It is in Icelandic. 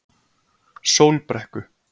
Sólbrekku